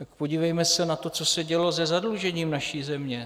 Tak podívejme se na to, co se dělo se zadlužením naší země.